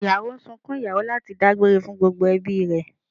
Ìyàwó ń sunkún ìyàwó láti dágbére fún gbogbo ẹbí